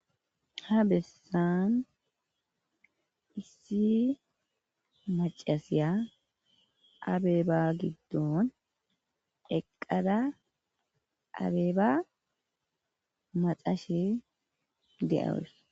Ha bessan issi macasiya abeeba giddon eqada abeeba maxashe de7awus.